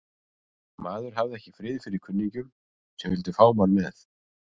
Maður hafði ekki frið fyrir kunningjum sem vildu fá mann með.